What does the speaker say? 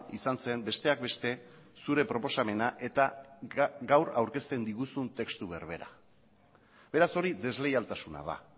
izan zen besteak beste zure proposamena eta gaur aurkezten diguzun testu berbera beraz hori desleialtasuna da